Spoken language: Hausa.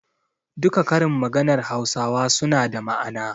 Duka karin maganar hausawa suna da ma'ana.